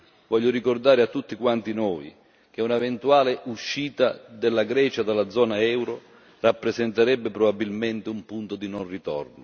Voglio ricordare a tutti quanti noi che un'eventuale uscita della Grecia dalla zona euro rappresenterebbe probabilmente un punto di non ritorno.